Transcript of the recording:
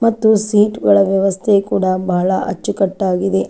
ಮತ್ತು ಸೀಟ್ ಒಳ ವ್ಯವಸ್ಥೆ ಕೂಡ ಬಹಳ ಅಚ್ಚುಕಟ್ಟಾಗಿದೆ.